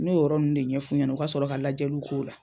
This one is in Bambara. N'o yɔrɔ nunnu de ɲɛf'u ɲɛna u ka sɔrɔ ka lajɛliw k'o la.